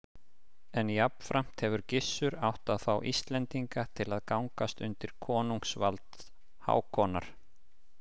En jafnframt hefur Gissur átt að fá Íslendinga til að gangast undir konungsvald Hákonar.